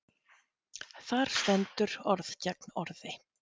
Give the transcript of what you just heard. Þar stendur orð gegn orði.